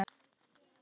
Hann lítur upp.